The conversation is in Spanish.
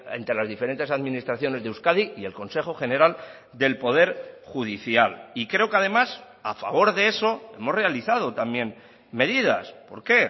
entre las diferentes administraciones de euskadi y el consejo general del poder judicial y creo que además a favor de eso hemos realizado también medidas por qué